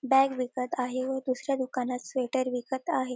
Bag विकत आहे व दुसऱ्या दुकानात स्वेटर दिसत आहे.